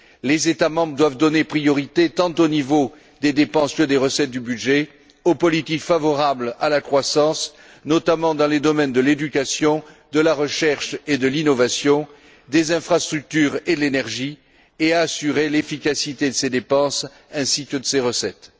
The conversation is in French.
Les États membres doivent donner priorité, tant au niveau des dépenses que des recettes du budget, aux politiques favorables à la croissance, notamment dans les domaines de l'éducation, de la recherche et de l'innovation, des infrastructures et de l'énergie, et à assurer l'efficacité de ces dépenses ainsi que de ces recettes.